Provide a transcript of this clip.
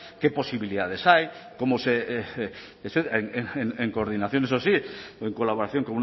qué posibilidades hay cómo se en coordinación eso sí en colaboración